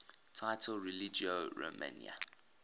title religio romana